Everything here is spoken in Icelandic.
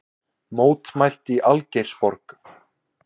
Mótmælt í Algeirsborg